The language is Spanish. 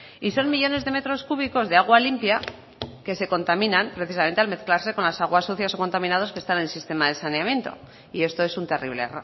y son millónes de metros cúbicos de agua limpia que se contaminan precisamente al mezclarse con las aguas sucias o contaminadas que están en el sistema de saneamiento y esto es un terrible